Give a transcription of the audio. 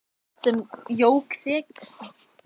Allt sem jók þrekið, styrkinn og úthaldið.